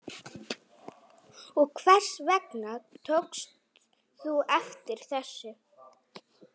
Og hvers vegna tókst þú eftir þessu?